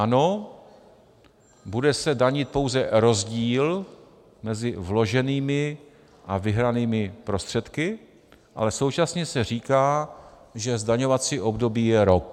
Ano, bude se danit pouze rozdíl mezi vloženými a vyhranými prostředky, ale současně se říká, že zdaňovací období je rok.